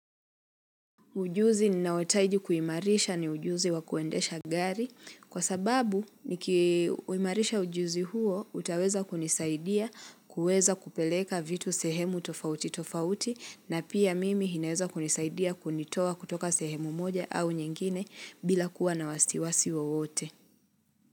Ujuzi ninaohitaji kuimarisha ni ujuzi wa kuendesha gari Kwa sababu nikiuimarisha ujuzi huo utaweza kunisaidia kuweza kupeleka vitu sehemu tofauti tofauti na pia mimi inaweza kunisaidia kunitoa kutoka sehemu moja au nyingine bila kuwa na wasiwasi wowote.